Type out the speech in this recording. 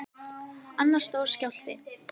Annar stór skjálfti